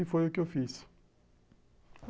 E foi o que eu fiz.